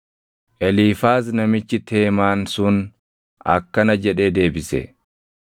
Eliifaaz namichi Teemaan sun akkana jedhee deebise: